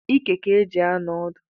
Ike ka e ji anọ odu